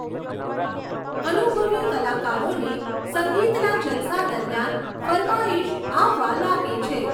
અનુભવી કલાકારોને સંગીતના જલસા દરમિયાન ફરમાઈશ આવવા લાગે છે.